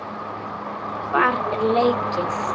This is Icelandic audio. Hvar er leikið?